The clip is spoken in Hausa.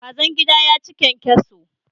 Kazan gida ya ci kyankyaso.